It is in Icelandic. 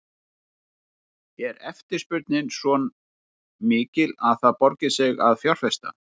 Linda: Er eftirspurnin svo mikil að það borgi sig að fjárfesta?